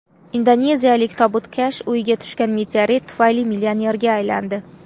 Indoneziyalik tobutkash uyiga tushgan meteorit tufayli millionerga aylandi .